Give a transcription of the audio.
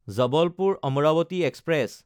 জবলপুৰ–আম্ৰাৱতী express